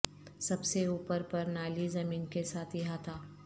سب سے اوپر پر نالی زمین کے ساتھ احاطہ